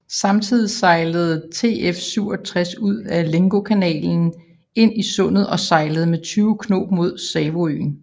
Samtidig sejlede TF67 ud af Lengokanalen ind i sundet og sejlede med 20 knob med Savoøen